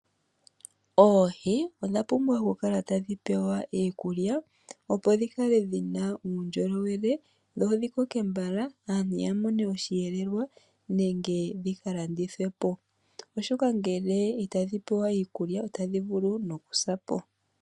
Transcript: Oohi odha pumbwa oku kala tadhi pewa iikulya, opo dhi kale dhina uundjolowele, dho dhi kokr mbala aantu ya mone oshiyelelwa nenge dhika landithwepo oshoka ngele itadhi pewa iikulya, otadhi vulu noku sapo.